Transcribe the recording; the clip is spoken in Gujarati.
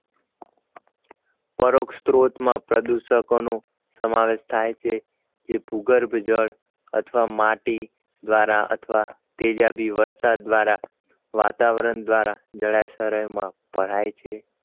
પરોક્ષસ્ત્રોતમાં પ્રદૂષકોનો સમાવેશ થાય છે જે ભૂગર્ભ જળ અથવા માટી દ્વારા અથવા તેજાબી વરસાદ દ્વારા વાતાવરણ દ્વારા જળાશરયમાં ભરાય છે